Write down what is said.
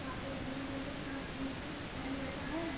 वहां पे एक ग्रीन कलर का शर्ट ब्लू जीन्स पहने लड़का है।